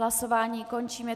Hlasování končím.